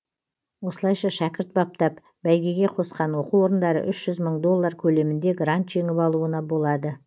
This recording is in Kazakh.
осылайша шәкірт баптап бәйгеге қосқан оқу орындары үш жүз мың доллар көлемінде грант жеңіп алуына болады